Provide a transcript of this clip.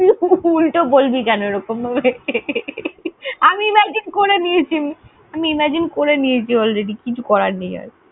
তুই উল্টো বলবি কেন এরকম ভাবে? আমি imagine করে নিয়েছি ~ আমি imagine করে নিয়েছি already কিছু করার নেই আর।